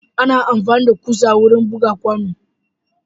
Ana amfani da kusa wurin buga kwano.